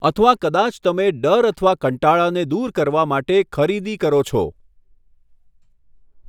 અથવા કદાચ તમે ડર અથવા કંટાળાને દૂર કરવા માટે ખરીદી કરો છો.